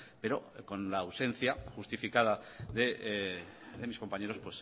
pero con la ausencia justificada de mis compañeros